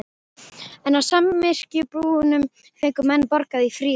En á samyrkjubúunum fengu menn borgað í fríðu.